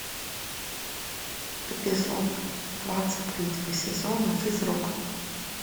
эпизод двадцать третьего сезона физрук